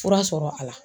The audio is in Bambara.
Fura sɔrɔ a la